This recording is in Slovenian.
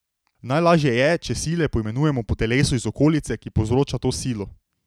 Najlažje je, če sile poimenujemo po telesu iz okolice, ki povzroča to silo.